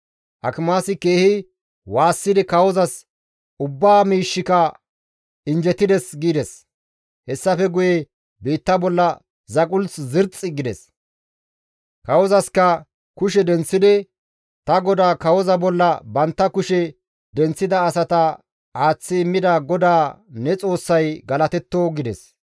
Akimaasi keehi waassidi kawozas, «Ubba miishshika injjetides» gides; hessafe guye biitta bolla zaqulth zirxxi gides; kawozasikka kushe denththidi, «Ta godaa kawoza bolla bantta kushe denththida asata aaththi immida GODAA ne Xoossay galatetto!» gides.